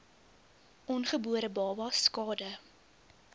ongebore babas skade